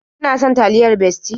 Ki na son taliyar Bestie?